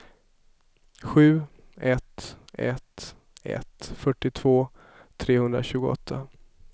sju ett ett ett fyrtiotvå trehundratjugoåtta